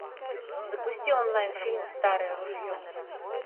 запусти онлайн фильм старое ружье